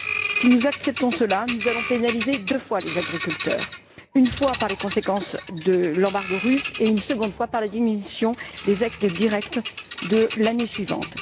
Si nous acceptons cela, nous allons pénaliser deux fois les agriculteurs une fois à cause des conséquences de l'embargo russe et une seconde fois à cause de la diminution des aides directes l'année suivante.